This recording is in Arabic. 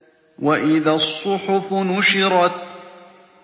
وَإِذَا الصُّحُفُ نُشِرَتْ